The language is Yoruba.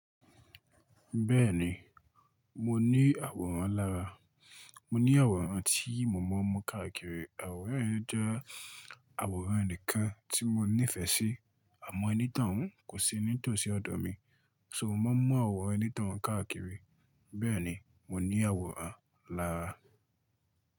Bẹ́ẹ̀ni, mo ní àwòrán lára. Mo ní àwòrán tí mo ma n mu káàkiri. Àwòrán yẹn jẹ́ àwòrán enìkan tí mo nífẹ̀ẹ́ sí. Àmọ́ ẹni tọ́un kò sí ní tòsí ọ̀dọ̀ mi. So mo máa mú àwòrán onitoun káàkiri. Bẹ́ẹ̀ni mo ní àwòrán lára.